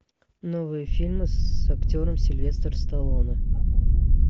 новые фильмы с актером сильвестр сталлоне